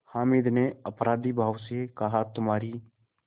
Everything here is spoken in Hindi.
हामिद ने अपराधीभाव से कहातुम्हारी